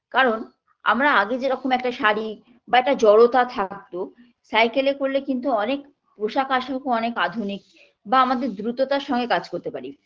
কারণ আমরা আগে যেরকম একটা শাড়ি বা একটা জড়তা থাকতো cycle -এ করলে কিন্তু অনেক পোশাক আশাকও অনেক আধুনিক বা আমাদের দ্রুততার সঙ্গে কাজ করতে পারি